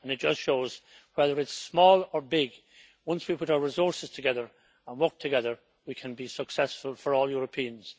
It just shows that, whether a country is small or big, once we put our resources together and work together we can be successful for all Europeans.